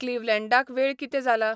क्लीव्हलॅंडाक वेळ कितें जाला ?